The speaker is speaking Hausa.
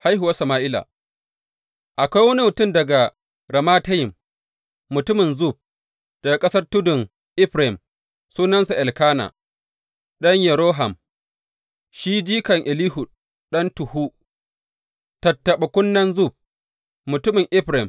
Haihuwar Sama’ila Akwai wani mutum daga Ramatayim, mutumin Zuf daga ƙasar tuddan Efraim, sunansa Elkana, ɗan Yeroham, shi jikan Elihu ɗan Tohu, tattaɓa kunnen Zuf, mutumin Efraim.